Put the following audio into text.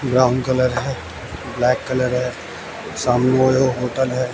Brown colour है black colour है। सामने ओयो होटल है।